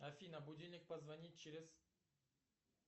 афина будильник позвонить через